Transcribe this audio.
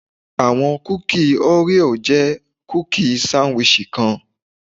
Awọn kuki Oreo jẹ kuki sandwich kan